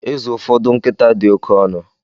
Ịzụ ụfọdụ nkịta dị oke ọnụ